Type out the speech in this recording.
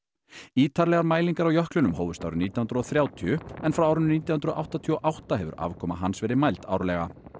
ítarlegar mælingar á jöklinum hófust árið nítján hundruð og þrjátíu en frá árinu nítján hundruð áttatíu og átta hefur afkoma hans verið mæld árlega